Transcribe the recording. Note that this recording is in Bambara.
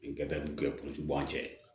Gafew kɛ puruke an cɛ